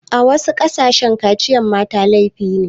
A wasu ƙasashe kaciyar mata laifi ne.